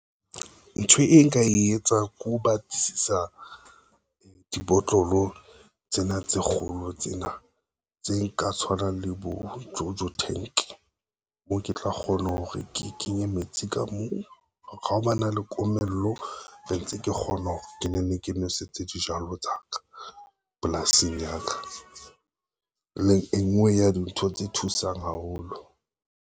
Ntho e nka e etsang ke ho batlisisa dibotlolo tsena tse kgolo tsena tse nka tshwanang le bo Jojo tank moo ke tla kgona hore ke ke nye metsi ka moo ka ha ba na le komello, le ntse ke kgona hore ke ne ke nwesetse dijalo tsa ka polasing ya ka e nngwe ya dintho tse thusang haholo.